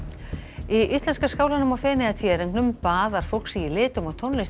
í íslenska skálanum á Feneyjatvíæringnum baðar fólk sig í litum og tónlist